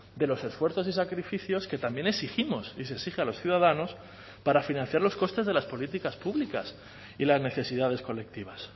de los esfuerzos y sacrificios que también exigimos y se exige a los ciudadanos para financiar los costes de las políticas públicas y las necesidades colectivas